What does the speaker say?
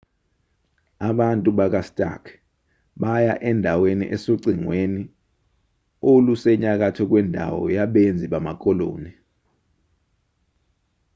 abantu bakastark baya endaweni esocingweni olusenyakatho kwendawo yabenzi bamakoloni